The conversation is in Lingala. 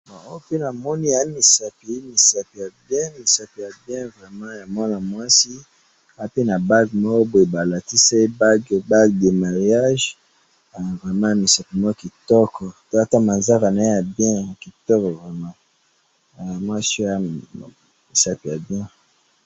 Bon! Oopse namoni eamisapi, eamisapi ya bien, misapi ya bien vraiment ya mwana mwasi, aape na bague moko boye balatisi ye bague, bague ya mariage, eh! Vraiment misapi moko kitoko, tala ata manzaka naye ya bien, ya kitoko vraiment, eh! Mwasi oyo aza namisapi ya bien.